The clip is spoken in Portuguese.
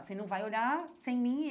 Você não vai olhar sem mim?